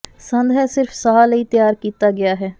ਸੰਦ ਹੈ ਸਿਰਫ ਸਾਹ ਲਈ ਤਿਆਰ ਕੀਤਾ ਗਿਆ ਹੈ